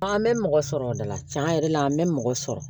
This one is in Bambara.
An bɛ mɔgɔ sɔrɔ o de la cɛn yɛrɛ la an bɛ mɔgɔ sɔrɔ